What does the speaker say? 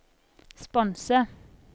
sponse